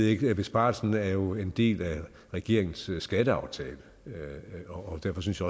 ikke men besparelsen er jo en del af regeringens skatteaftale og derfor synes